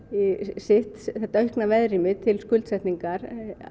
sitt þetta aukna veðrými til skuldsetningar